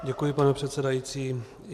Děkuji, pane předsedající.